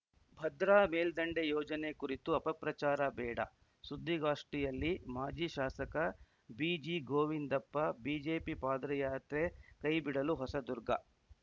ಭದ್ರಾ ಮೇಲ್ದಂಡೆ ಯೋಜನೆ ಕುರಿತು ಅಪಪ್ರಚಾರ ಬೇಡ ಸುದ್ದಿಗೋಷ್ಠಿಯಲ್ಲಿ ಮಾಜಿ ಶಾಸಕ ಬಿಜಿಗೋವಿಂದಪ್ಪ ಬಿಜೆಪಿ ಪಾದ್ರಯಾತ್ರೆ ಕೈ ಬಿಡಲಿ ಹೊಸದುರ್ಗ